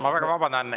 Ma väga vabandan.